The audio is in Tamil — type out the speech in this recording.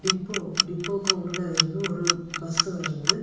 டிப்போ டிப்போக்கு உள்ளேருந்து பஸ்சு வருது.